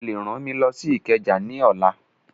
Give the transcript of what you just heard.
Ó lè rán mi lọ sí Ìkẹjà ní ọ̀la